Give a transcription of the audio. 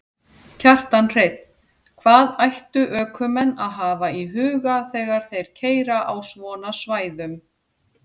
Kjartan Hreinn: Hvað ættu ökumenn að hafa í huga þegar þeir keyra á svona svæðum?